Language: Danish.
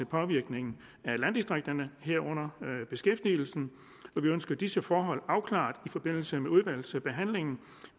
påvirkningen af landdistrikterne herunder beskæftigelsen vi ønsker disse forhold afklaret i forbindelse med udvalgsbehandlingen